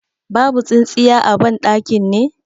Babu tsintsiya a ban ɗakin ne?